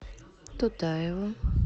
тутаеву